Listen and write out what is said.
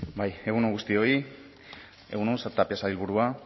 bai egun on guztioi egun on tapia sailburua